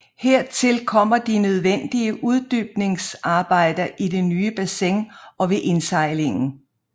Hertil kom de nødvendige uddybningsarbejder i det nye bassin og ved indsejlingen